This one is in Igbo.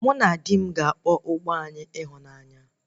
Mụ na di m ga-aba ụgbọ anyị ịhụnanya